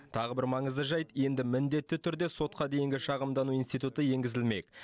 тағы бір маңызды жайт енді міндетті түрде сотқа дейінгі шағымдану институты енгізілмек